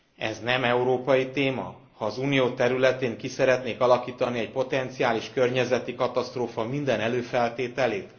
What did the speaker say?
Ez nem európai téma, ha az Unió területén ki szeretnék alakítani egy potenciális környezeti katasztrófa minden előfeltételét?